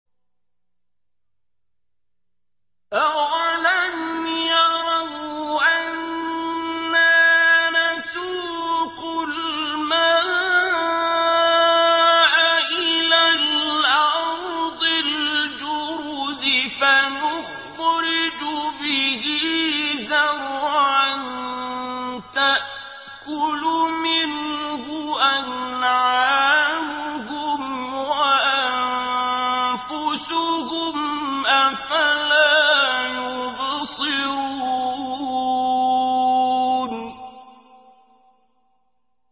أَوَلَمْ يَرَوْا أَنَّا نَسُوقُ الْمَاءَ إِلَى الْأَرْضِ الْجُرُزِ فَنُخْرِجُ بِهِ زَرْعًا تَأْكُلُ مِنْهُ أَنْعَامُهُمْ وَأَنفُسُهُمْ ۖ أَفَلَا يُبْصِرُونَ